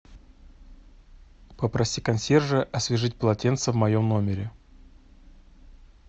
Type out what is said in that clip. попроси консьержа освежить полотенце в моем номере